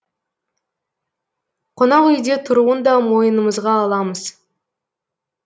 қонақүйде тұруын да мойнымызға аламыз